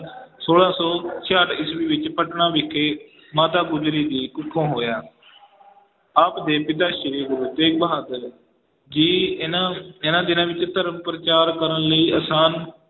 ਛੋਲਾਂ ਸੌ ਛਿਆਹਠ ਈਸਵੀ ਵਿੱਚ ਪਟਨਾ ਵਿਖੇ ਮਾਤਾ ਗੁਜਰੀ ਜੀ ਕੁੱਖੋਂ ਹੋਇਆ ਆਪ ਦੇ ਪਿਤਾ ਸ੍ਰੀ ਗੁਰੂ ਤੇਗ ਬਹਾਦਰ ਜੀ ਇਹਨਾਂ ਇਹਨਾਂ ਦਿਨਾਂ ਵਿੱਚ ਧਰਮ ਪ੍ਰਚਾਰ ਕਰਨ ਲਈ ਆਸਾਮ